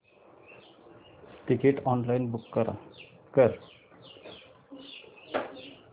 ticket online book कर